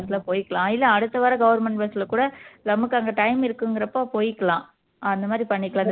அடுத்து வர்ற bus ல போயிக்கலாம் இல்ல அடுத்து வர்ற government bus ல கூட நமக்கு அங்க time இருக்குங்குறப்போ போயிக்கலாம் அந்த மாதிரி பண்ணிக்கலாம்